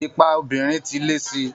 Ipa obìnrin ti lé sí i